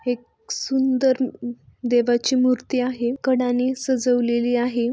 हे एक सुंदर देवाची मूर्ति आहे कड्यांनी सजवलेली आहे.